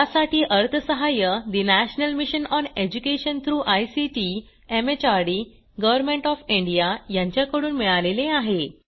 यासाठी अर्थसहाय्य national mission on education through ICT MHRD government of India यांच्याकडून मिळालेले आहे